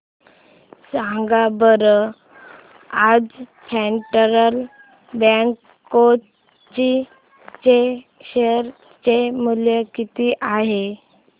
सांगा बरं आज फेडरल बँक कोची चे शेअर चे मूल्य किती आहे